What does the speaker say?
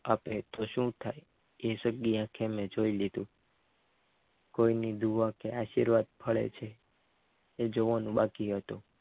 આપેતો શું થાય એ જગ્યા મેં જોઈ લીધું કોઈની દુવા કયા આશીર્વાદ ફળે છે એ જોવાનું બાકી હતું